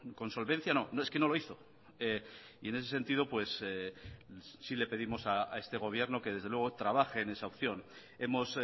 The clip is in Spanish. con solvencia no es que no lo hizo y en ese sentido sí le pedimos a este gobierno que desde luego trabaje en esa opción hemos